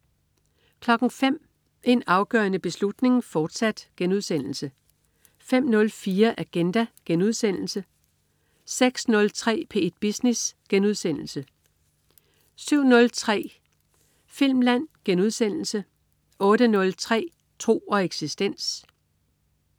05.00 En afgørende beslutning, fortsat* 05.04 Agenda* 06.03 P1 Business* 07.03 Filmland* 08.03 Tro og eksistens